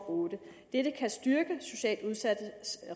og otte dette kan styrke socialt udsattes